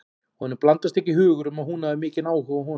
Honum blandast ekki hugur um að hún hefur mikinn áhuga á honum.